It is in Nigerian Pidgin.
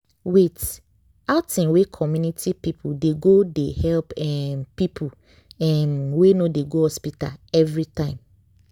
wait- outing wey community people dey go they help um people um wey no dey go hospital everytime.